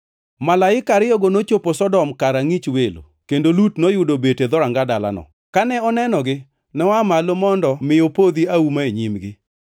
Malaika ariyogo nochopo Sodom kar angʼich welo kendo Lut noyudo obet e dhoranga dalano. Kane onenogi, noa malo mondo mi opodho auma e nyimgi.